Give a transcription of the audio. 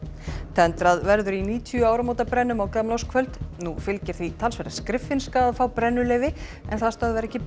tendrað verður í níutíu áramótabrennum á gamlárskvöld nú fylgir því talsverð skriffinska að fá brennuleyfi en það stöðvar ekki